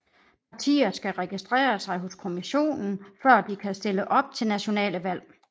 Partier skal registrere sig hos kommissionen før de kan stille op til nationale valg